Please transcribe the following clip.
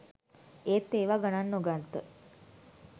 ඒත් ඒවා ගනන් නොගත්ත